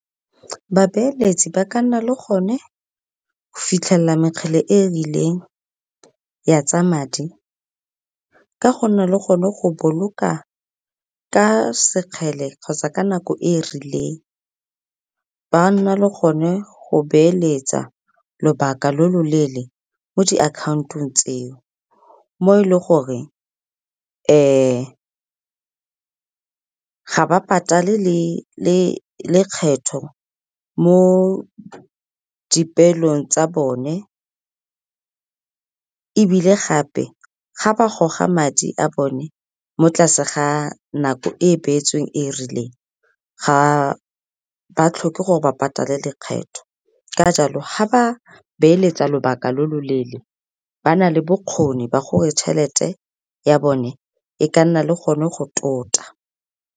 Babeeletsi ba ka nna le gone go fitlhelela mekgele e e rileng ya tsa madi ka go nna le gone go boloka ka sekgele kgotsa ka nako e rileng. Ba nna le gone go beeletsa lobaka lo lo leele mo diakhantong tseo. Mo e leng gore ga ba patale lekgetho mo dipeelong tsa bone, ebile gape ga ba goga madi a bone mo tlase ga nako e e beetsweng e e rileng ga ba tlhoke gore ba patale lekgetho. Ka jalo ga ba beeletsa lobaka lo loleele ba na le bokgoni ba gore tšhelete ya bone e ka nna le gone go tota.